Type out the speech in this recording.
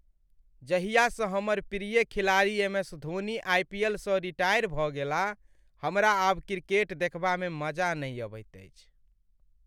जाहियासँ हमर प्रिय खिलाड़ी एम.एस.धोनी आइपीएलसँ रिटायर भऽ गेलाह, हमरा आब क्रिकेट देखबामे मजा नहि अबैत अछि।